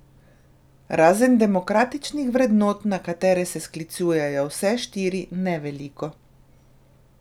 Razen demokratičnih vrednot, na katere se sklicujejo vse štiri, ne veliko.